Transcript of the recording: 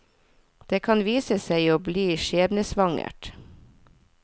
Det kan vise seg å bli skjebnesvangert.